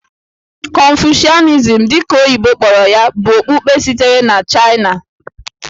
Confucianism, dị ka oyibo kpọrọ ya, bụ okpukpe sitere na Chaịna.